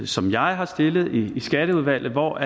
som jeg har stillet i skatteudvalget hvor